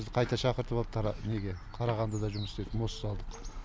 бізді қайта шақыртып алды неге қарағандыда жұмыс істедік мост салдық